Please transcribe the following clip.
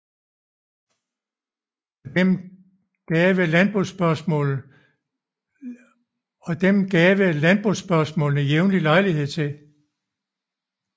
Og dem gave landbospørgsmålene jævnlig lejlighed til